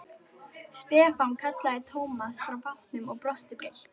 Stefán kallaði Thomas frá bátnum og brosti breitt.